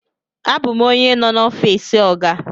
Abum onye no n'ofisi oga.